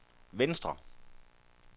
venstre